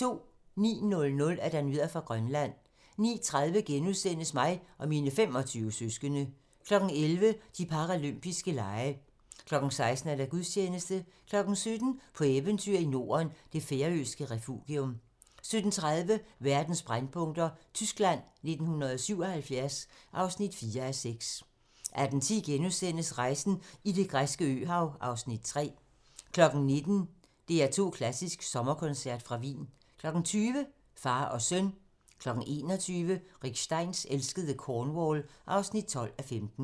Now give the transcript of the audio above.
09:00: Nyheder fra Grønland 09:30: Mig og mine 25 søskende * 11:00: De paralympiske lege 16:00: Gudstjeneste 17:00: På eventyr i Norden - det færøske refugium 17:30: Verdens brændpunkter: Tyskland 1977 (4:6) 18:10: Rejsen i det græske øhav (Afs. 3)* 19:00: DR2 Klassisk: Sommerkoncert fra Wien 20:00: Far og søn 21:00: Rick Steins elskede Cornwall (12:15)